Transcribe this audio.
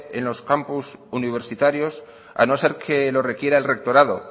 en los campus universitarios a no ser que lo requiera el rectorado